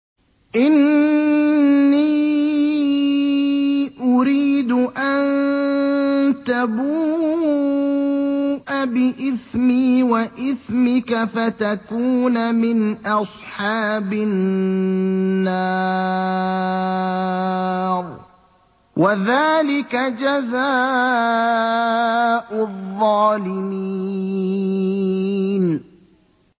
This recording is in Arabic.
إِنِّي أُرِيدُ أَن تَبُوءَ بِإِثْمِي وَإِثْمِكَ فَتَكُونَ مِنْ أَصْحَابِ النَّارِ ۚ وَذَٰلِكَ جَزَاءُ الظَّالِمِينَ